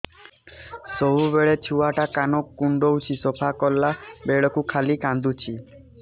ସବୁବେଳେ ଛୁଆ ଟା କାନ କୁଣ୍ଡଉଚି ସଫା କଲା ବେଳକୁ ଖାଲି କାନ୍ଦୁଚି